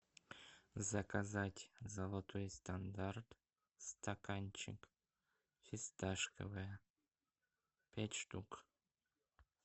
заказать золотой стандарт стаканчик фисташковое пять штук